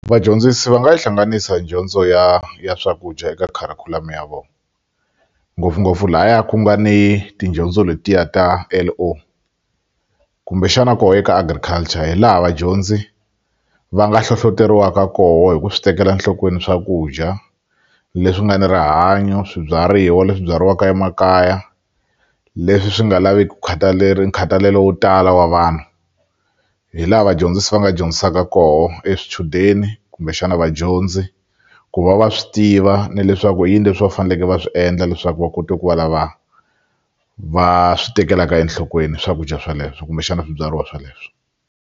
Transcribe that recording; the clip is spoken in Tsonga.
Vadyondzisi va nga yi hlanganisa dyondzo ya ya swakudya eka kharikhulamu ya vona ngopfungopfu lahaya ku nga ni tidyondzo letiya ta L_O kumbexana ko eka Agriculture hi laha vadyondzi va nga hlohloteriwaka koho hi ku swi tekela nhlokweni swakudya leswi nga ni rihanyo swibyariwa leswi byariwaka emakaya leswi swi nga laveki nkhathalelo wo tala wa vanhu hi laha vadyondzisi va nga dyondzisaka koho e swichudeni kumbexana vadyondzi ku va va swi tiva na leswaku i yini leswi va faneleke va swi endla leswaku va kota ku va lava va swi tekelaka enhlokweni swakudya swaleswo kumbexana swibyariwa swaleswo.